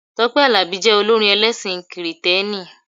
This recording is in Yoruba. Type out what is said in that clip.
Tọ́pẹ́ Àlàbí jẹ olórin ẹlẹ́sìn kìrìtẹ́nì.